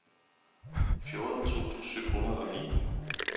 fjorten tusind syv hundrede og ni